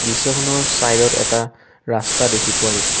দৃশ্যখনৰ চাইড ত এটা ৰাস্তা দেখি পোৱা গৈছে।